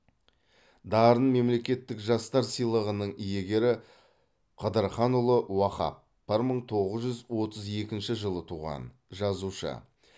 дарын мемлекеттік жастар сыйлығының иегері қыдырханұлы уахап бір мың тоғыз жүз отыз екінші жылы туған жазушы